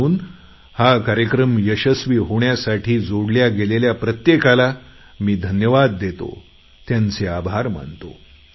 म्हणून हा कार्यक्रम यशस्वी होण्यासाठी जोडल्या गेलेल्या प्रत्येकाला मी धन्यवाद देतो त्यांचे आभार मानतो